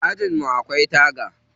Ajin mu akwai taga.